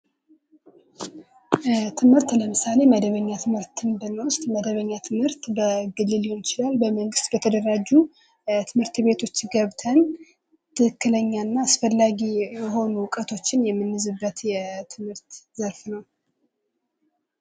ትምህርት ለምሳሌ መደበኛ ትምህርትን ብንወስድ መደበኛ ትምህርት በግል ሊሆን ይችላል በመንግስት በተደራጁ ትምህርት ቤቶች ገብተን ትክክለኛና አስፈላጊ የሆኑ ዕውቀቶችን የምንይዝበት የትምህርት ዘርፍ ነው።